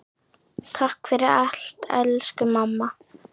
Takk fyrir allt, elsku mamma.